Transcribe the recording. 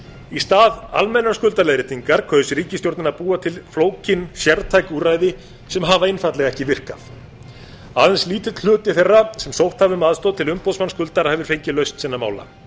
í stað almennrar skuldaleiðréttingar kaus ríkisstjórnin að búa til flókin sértæk úrræði sem hafa einfaldlega ekki virkað aðeins lítill hluti þeirra sem sótt hafa um aðstoð til umboðsmanns skuldara hefur fengið lausn sinna mála